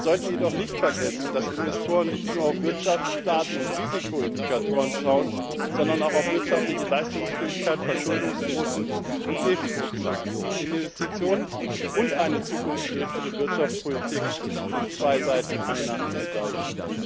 Wir sollten jedoch nicht vergessen, dass Investoren nicht nur auf Wirtschaftsdaten und Risikoindikatoren schauen, sondern auch auf wirtschaftliche Leistungsfähigkeit, Verschuldungsquoten und Defizitzahlen. Investitionen und eine zukunftsgerichtete Wirtschaftspolitik sind zwei Seiten einer Medaille.